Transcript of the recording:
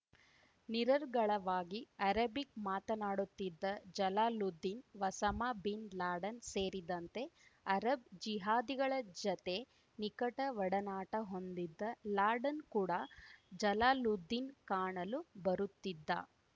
ನಿರರ್ಗಳವಾಗಿ Arabic ಮಾತನಾಡುತ್ತಿದ್ದ Jalaluddin Osama bin Laden ಸೇರಿದಂತೆ Arab ಜಿಹಾದಿಗಳ ಜತೆ ನಿಕಟ ಒಡನಾಟ ಹೊಂದಿದ್ದ ಲಾಡೆನ್‌ ಕೂಡ ಜಲಾಲುದ್ದೀನ್‌ ಕಾಣಲು ಬರುತ್ತಿದ್ದ